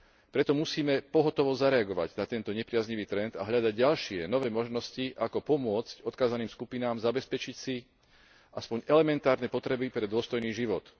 Preto musíme pohotovo zareagovať na tento nepriaznivý trend a hľadať ďalšie nové možnosti ako pomôcť odkázaným skupinám zabezpečiť si aspoň elementárne potreby pre dôstojný život.